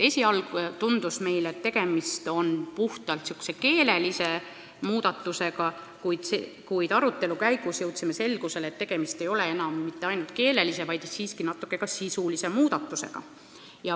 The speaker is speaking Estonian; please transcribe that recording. Esialgu tundus meile, et tegemist on puhtalt keelelise muudatusega, kuid arutelu käigus jõudsime selgusele, et tegemist ei ole siiski enam mitte ainult keelelise, vaid natuke ka sisulise muudatusega.